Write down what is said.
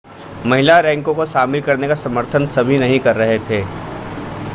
महिला रैंकों को शामिल करने का समर्थन सभी नहीं कर रहे थे